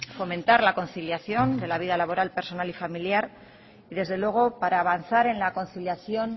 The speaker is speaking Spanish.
fomentar la conciliación de la vida laboral personal y familiar y desde luego para avanzar en la conciliación